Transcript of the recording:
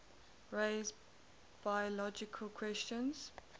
raise biological questions